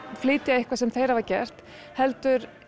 flytja eitthvað sem þeir hafa gert heldur